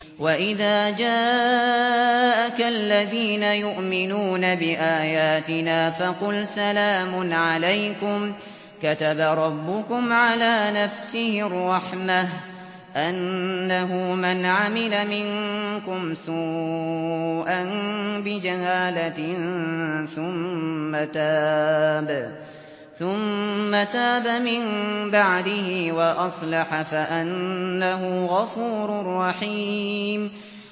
وَإِذَا جَاءَكَ الَّذِينَ يُؤْمِنُونَ بِآيَاتِنَا فَقُلْ سَلَامٌ عَلَيْكُمْ ۖ كَتَبَ رَبُّكُمْ عَلَىٰ نَفْسِهِ الرَّحْمَةَ ۖ أَنَّهُ مَنْ عَمِلَ مِنكُمْ سُوءًا بِجَهَالَةٍ ثُمَّ تَابَ مِن بَعْدِهِ وَأَصْلَحَ فَأَنَّهُ غَفُورٌ رَّحِيمٌ